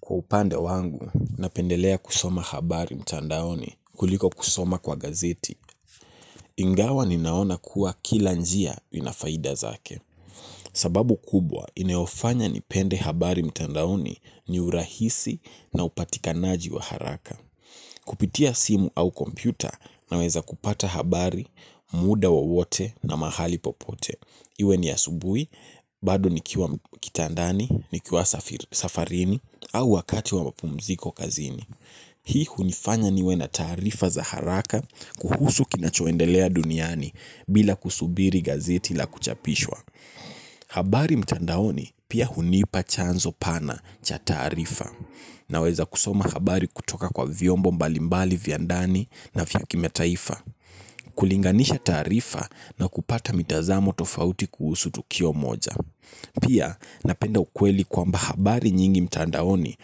Kwa upande wangu, napendelea kusoma habari mtandaoni, kuliko kusoma kwa gazeti, ingawa ninaona kuwa kila njia inafaida zake. Sababu kubwa, inayofanya nipende habari mtandaoni ni urahisi na upatikanaji wa haraka. Kupitia simu au kompyuta naweza kupata habari, muda wowote na mahali popote. Iwe ni asubuhi, bado nikiwa kitandani, nikiwa safarini, au wakati wa mapumziko kazini. Hii hunifanya niwe na taarifa za haraka, kuhusu kinachoendelea duniani bila kusubiri gazeti la kuchapishwa. Habari mtandaoni pia hunipa chanzo pana cha taarifa naweza kusoma habari kutoka kwa viombo mbalimbali via ndani na vya kimataifa. Kulinganisha taarifa na kupata mitazamo tofauti kuhusu tukio moja. Pia napenda ukweli kwamba habari nyingi mtandaoni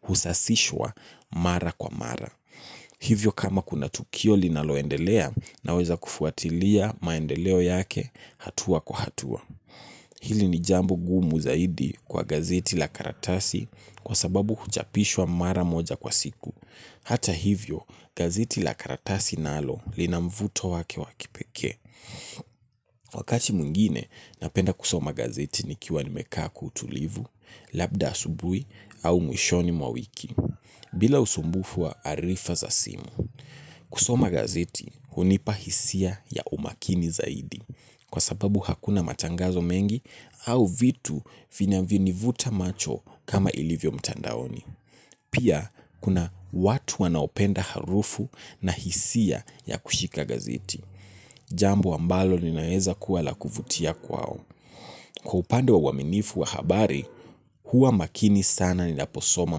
husasishwa mara kwa mara. Hivyo kama kuna tukio linaloendelea, naweza kufuatilia maendeleo yake hatua kwa hatua. Hili ni jambo ngumu zaidi kwa gazeti la karatasi kwa sababu huchapishwa mara moja kwa siku. Hata hivyo, gazeti la karatasi nalo linamvuto wake wakipekee. Wakati mwingine, napenda kusoma gazeti nikiwa nimekaa kwa utulivu, labda asubuhi au mwishoni mwa wiki. Bila usumbufu wa arifa za simu, kusoma gazeti hunipa hisia ya umakini zaidi kwa sababu hakuna matangazo mengi au vitu vinayo ni vuta macho kama ilivyo mtandaoni. Pia kuna watu wanaopenda harufu na hisia ya kushika gazeti. Jambo ambalo linaweza kuwa la kuvutia kwao. Kwa upande wa uaminifu wa habari, huwamakini sana ninaposoma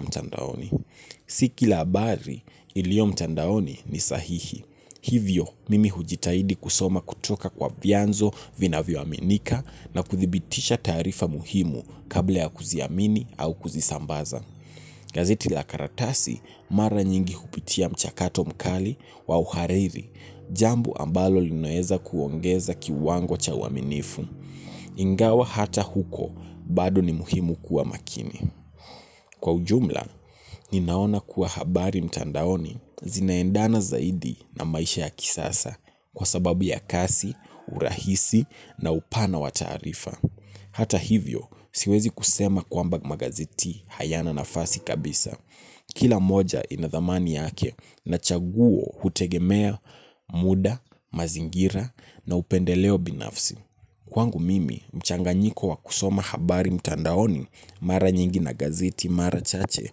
mtandaoni. Tiki la habari ilio mtandaoni ni sahihi. Hivyo mimi hujitahidi kusoma kutoka kwa vianzo vinavyo aminika na kuthibitisha taarifa muhimu kabla ya kuziamini au kuzisambaza. Gazeti la karatasi mara nyingi hupitia mchakato mkali wa uhariri, jambo ambalo linaweza kuongeza kiwango cha uaminifu. Ingawa hata huko, bado ni muhimu kuwa makini. Kwa ujumla, ninaona kuwa habari mtandaoni zinaendana zaidi na maisha ya kisasa, kwa sababu ya kasi, urahisi na upana wa taarifa. Hata hivyo, siwezi kusema kwamba magazeti hayana nafasi kabisa. Kila moja inadhamani yake, na chaguo hutegemea muda, mazingira na upendeleo binafsi. Kwangu mimi, mchanganyiko wa kusoma habari mtandaoni mara nyingi na gazeti marachache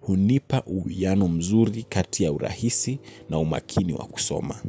hunipa uhiano mzuri kati ya urahisi na umakini wa kusoma.